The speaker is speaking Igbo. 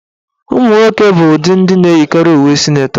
Ụmụnwoke bụ ndị na-eyikarị uwe sịnetọ.